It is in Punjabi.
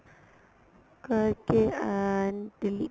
ਕਰਕੇ and delete